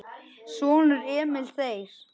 Sonur: Emil Þeyr.